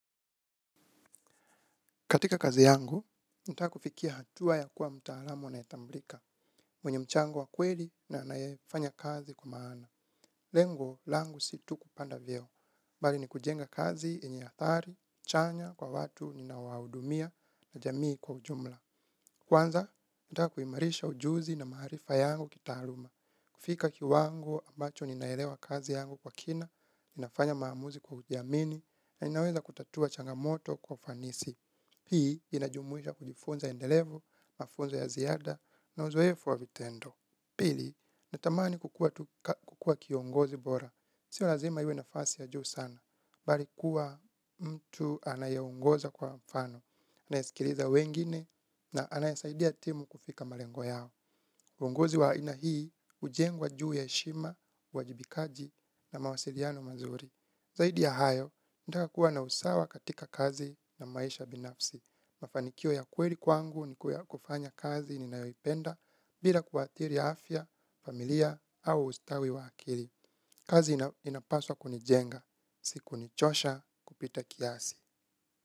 Katika kazi yangu, nitaka kufikia hatua ya kuwa mtaalamu anayetambulika. Mwenye mchango wa kweli na anaefanya kazi kwa maana. Lengo, langu situ kupanda vyeo. Mbali ni kujenga kazi, yenye ari, chanya, kwa watu, ninawaudumia, na jamii kwa ujumla. Kwanza, nataka kuhimarisha ujuzi na maaharifa yangu kitaaluma. Kufika kiwango, ambacho ninaelewa kazi yangu kwa kina, ninafanya maamuzi kwa kujiamini, na ninaweza kutatua changamoto kwa ufanisi. Hii inajumuisha kujifunza endelevu, mafunza ya ziada na uzoefu wa vitendo. Pili, natamani kukua kiongozi bora. Sio lazima iwe nafasi ya juu sana. Bali kuwa mtu anaye ongoza kwa mfano. Anaisikiliza wengine na anaye saidia timu kufika malengo yao. Uongozi wa ina hii ujengwa juu ya shima, uajibikaji na mawasiliano mazuri. Zaidi ya hayo, ndaka kuwa na usawa katika kazi na maisha binafsi. Mafanikio ya kweli kwangu ni kufanya kazi ni nayoipenda bila kuathiri afya, familia au ustawi wa akili. Kazi inapaswa kunijenga. Siku nichosha kupita kiasi.